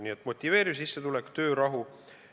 Nii et motiveeriv sissetulek ja töörahu.